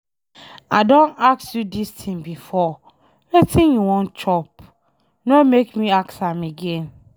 I don ask you dis thing before, wetin you wan chop? No make me ask am again.